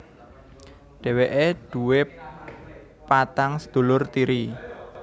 Dheweke duwé patang sedulur tiri